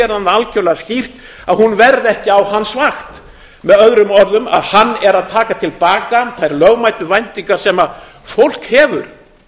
hann það algjörlega skýrt að hún verði ekki á hans vakt með öðrum orðum að hann er að taka til baka þær lögmætu væntingar sem fólk hefur